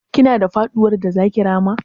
Kina da faɗuwar da zaki rama?